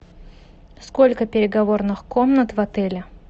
сколько переговорных комнат в отеле